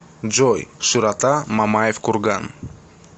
джой широта мамаев курган